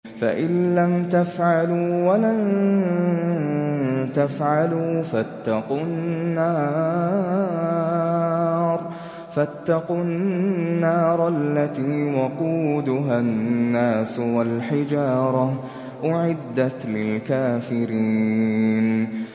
فَإِن لَّمْ تَفْعَلُوا وَلَن تَفْعَلُوا فَاتَّقُوا النَّارَ الَّتِي وَقُودُهَا النَّاسُ وَالْحِجَارَةُ ۖ أُعِدَّتْ لِلْكَافِرِينَ